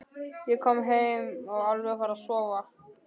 Ég er kominn heim og alveg að fara að sofa.